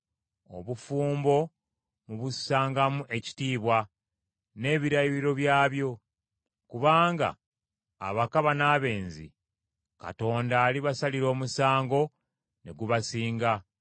Obufumbo mubussangamu ekitiibwa n’ebirayiro byabwo, kubanga abakaba n’abenzi Katonda alibasalira omusango, ne gubasinga.